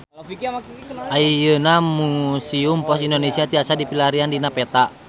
Ayeuna Museum Pos Indonesia tiasa dipilarian dina peta